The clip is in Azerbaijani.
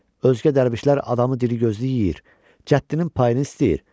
Özkə dərvişlərə adamı dili gözlü yeyir, cəddinin payını istəyir.